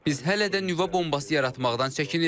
Biz hələ də nüvə bombası yaratmaqdan çəkinirik.